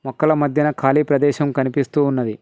మొక్కల మధ్యన కాలీ ప్రదేశం కనిపిస్తూ ఉన్నది.